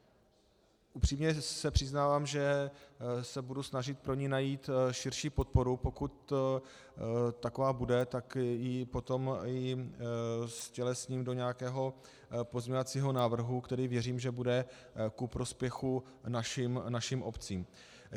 Upřímně se přiznávám, že se budu snažit pro ni najít širší podporu, pokud taková bude, tak ji potom ztělesním do nějakého pozměňovacího návrhu, který věřím, že bude ku prospěchu našim obcím.